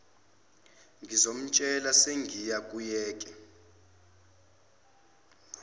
ngizomtshela sengiya kuyeke